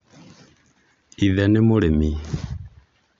Ithe nĩ mũrĩmi